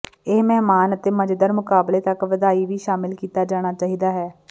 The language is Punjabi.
ਇਹ ਮਹਿਮਾਨ ਅਤੇ ਮਜ਼ੇਦਾਰ ਮੁਕਾਬਲੇ ਤੱਕ ਵਧਾਈ ਵੀ ਸ਼ਾਮਲ ਕੀਤਾ ਜਾਣਾ ਚਾਹੀਦਾ ਹੈ